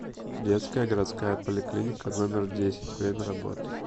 детская городская поликлиника номер десять время работы